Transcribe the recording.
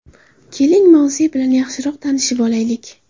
Keling, mavze bilan yaxshiroq tanishib olaylik!